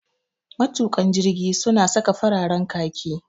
Matuƙan jirgi su na saka fararen khaki